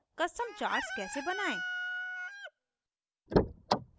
custom charts कैसे बनायें